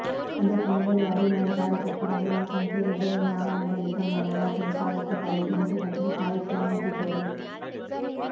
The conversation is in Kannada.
ಅದಕ್ಕೂ ಮೊದಲೇ ಅಭಿಮಾನಿ ಕಾರ್ಯಕರ್ತರ ನೂರಾರು ಸಂಖ್ಯೆಯಲ್ಲಿ ಜೈಲಿನ ಆವರಣದಲ್ಲಿ ತಮ್ಮ ನಾಯಕನ ಸ್ವಾಗತಕ್ಕಾಗಿ ಘಂಟೆ ಗಟ್ಟಲೆ ಕಾಯುತ್ತ ನಿಂತಿದ್ದರು